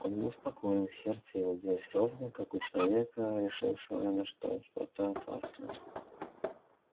он был спокоен сердце его билось ровно как у человека решившегося на что-то опасное